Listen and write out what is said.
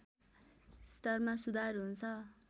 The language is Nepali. स्तरमा सुधार हुन्छ